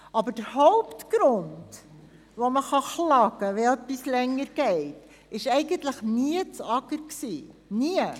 Aber der Hauptgrund, weswegen man sich beklagen kann, wenn es länger dauert, ist nie das AGR, nie.